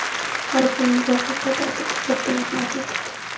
Har bir muvaffaqiyat ortida katta mehnat yotadi.